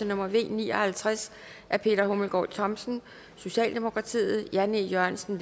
nummer v ni og halvtreds af peter hummelgaard thomsen jan e jørgensen